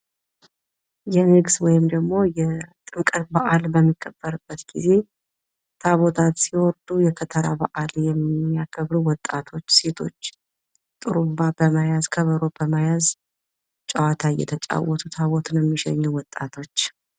የንግስ ወይንም ደግሞ ጥምቀት በአል በሚከበርበት ጊዜ ታቦታት ሲወርዱ የከተራ በአል የሚያከብሩ ወጣቶች ሴቶች ጥሩንባ በመያዝ ከበሮ በመያዝ እየተጫወቱ ታቦትን እየሸኙ የሚገኙ ወጣቶች።